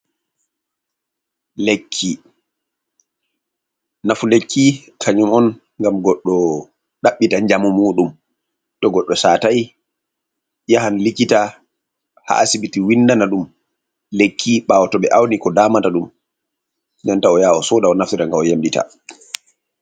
Lekki: Nafu lekki kanyum on ngam goɗɗo ɗaɓita njamu muɗum. To goɗɗo satai yahan likita ha asibiti windana ɗum lekki ɓawo to ɓe auni ko damata ɗum. Nden ta oyaha osoda o'naftira ngam o yemɗita